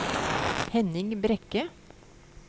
Henning Brekke